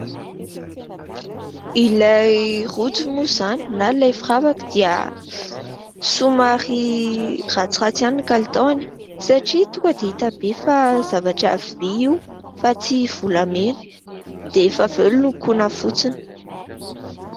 Ilay rojo moa izany na ilay firavaka dia somary ratsiratsy ihany ny kalitaony satria tonga dia hita be fa zavatra vy io fa tsy volamena dia rehefa avy eo nolokoina fotsiny.